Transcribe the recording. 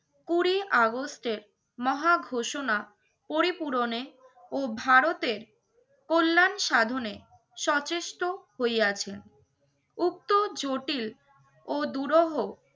কুড়ি আগস্টের মহা ঘোষণা পরিপূরণে ও ভারতের কল্যাণ সাধনে সচেষ্ট হইয়া আছেন। উক্ত জটিল ও দুরহ